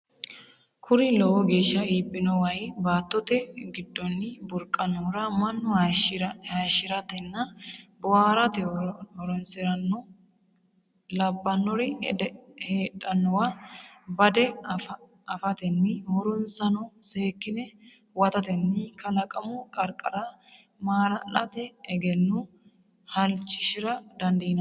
Kuri lowo geeshsha iibbino way baattote giddonni burqannohura mannu hayishshi’ratenna boohaarate horonsi’ranno labbannori heedhannowa bade afatenni horonsano seekkine huwatatenni kalaqamu qarqara maala’late egenno halashshi’ra dandiinanni?